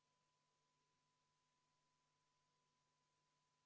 Muudatusettepanekut toetas 52 saadikut, muudatusettepaneku vastu oli 4 ja erapooletuid saadikuid oli 1.